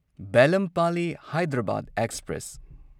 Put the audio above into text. Belampalli Hyderabad express